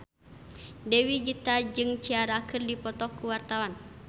Dewi Gita jeung Ciara keur dipoto ku wartawan